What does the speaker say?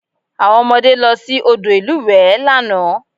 Àwọn ọmọdé lọ sí odò ìlúwẹ̀ẹ́ lánàá